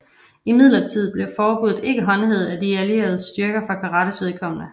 Imidlertid blev forbuddet ikke håndhævet af De Allierede styrkers for karates vedkommende